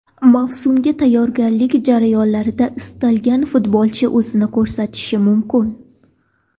Mavsumga tayyorgarlik jarayonlarida istalgan futbolchi o‘zini ko‘rsatishi mumkin.